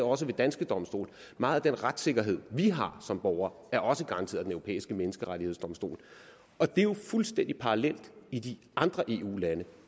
også ved danske domstole meget af den retssikkerhed vi har som borgere er også garanteret europæiske menneskerettighedskonvention og det er jo fuldstændig parallelt i de andre eu lande